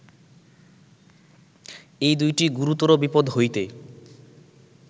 এই দুইটি গুরুতর বিপদ্ হইতে